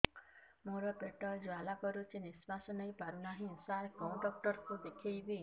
ମୋର ପେଟ ଜ୍ୱାଳା କରୁଛି ନିଶ୍ୱାସ ନେଇ ପାରୁନାହିଁ ସାର କେଉଁ ଡକ୍ଟର କୁ ଦେଖାଇବି